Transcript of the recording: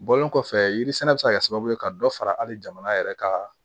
Bɔlen kɔfɛ yiri sɛnɛ bɛ se ka kɛ sababu ye ka dɔ fara hali jamana yɛrɛ ka